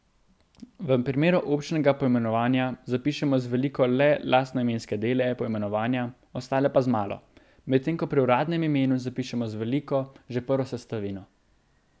V primeru občnega poimenovanja zapišemo z veliko le lastnoimenske dele poimenovanja, ostale pa z malo, medtem ko pri uradnem imenu zapišemo z veliko že prvo sestavino.